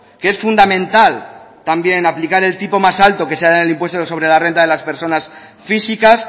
que es fundamental también aplicar el tipo más alto que se da en el impuesto sobre la renta de la personas físicas